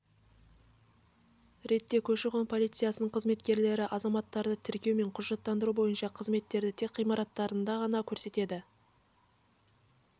ретте көші қон полициясының қызметкерлері азаматтарды тіркеу мен құжаттандыру бойынша қызметтерді тек ғимараттарында ғана көрсетеді